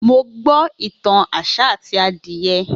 Mo gbo itan áṣá ati adiye